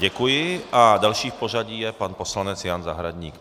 Děkuji a další v pořadí je pan poslanec Jan Zahradník.